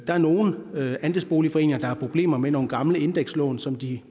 er nogle andelsboligforeninger der har problemer med nogle gamle indekslån som de